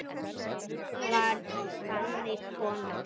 Hún var þannig kona.